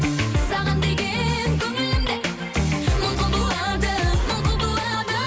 саған деген көңілім де мың құбылады мың құбылады